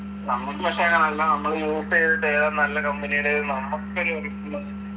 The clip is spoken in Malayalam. നമ്മക്ക് പക്ഷെ നല്ല നമ്മള് use എയ്തിട്ട് ഏതാ നല്ല company ടേത് നമ്മക്കൊരു